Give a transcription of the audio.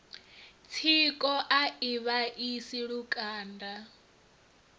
tsiko a i vhaisi lukanda